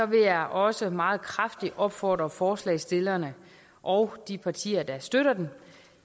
vil jeg også meget kraftigt opfordre forslagsstillerne og de partier der støtter dem